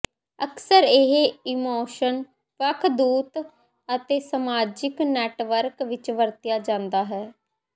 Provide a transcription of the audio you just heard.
ਅਕਸਰ ਇਹ ਇਮੋਸ਼ਨ ਵੱਖ ਦੂਤ ਅਤੇ ਸਮਾਜਿਕ ਨੈੱਟਵਰਕ ਵਿੱਚ ਵਰਤਿਆ ਜਾਦਾ ਹੈ